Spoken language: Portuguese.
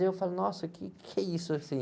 E eu falei, nossa, o quê que é isso, assim?